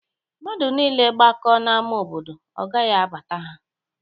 Mmadụ niile gbakọọ n'ámá obodo, ọ gaghị abata ha